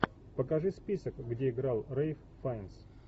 покажи список где играл рэйф файнс